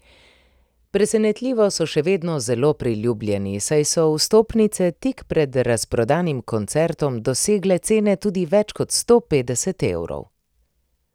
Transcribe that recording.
Presenetljivo so še vedno zelo priljubljeni, saj so vstopnice tik pred razprodanim koncertom dosegale cene tudi več kot sto petdeset evrov.